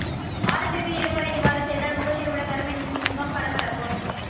வாரத்திற்கு இரமுறை இவ்வாறு செய்தால் முகத்தில் உள்ள கருமை நீங்கி முகம் பளபளக்கும்